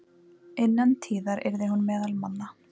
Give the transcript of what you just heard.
Innan tíðar yrði hún meðal manna.